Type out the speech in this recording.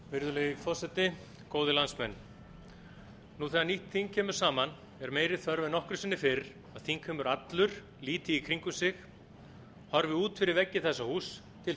virðulegi forseti góðir landsmenn nú þegar nýtt þing kemur saman er meiri þörf en nokkru sinni fyrr að þingheimur allur líti í kringum sig horfi út fyrir veggi þessa húss til